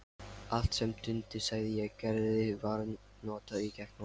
Allt sem Dundi sagði og gerði var notað gegn honum.